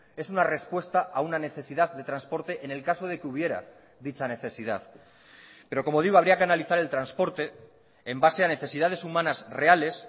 es una respuesta a una necesidad de transporte en el caso de que hubiera dicha necesidad pero como digo habría que analizar el transporte en base a necesidades humanas reales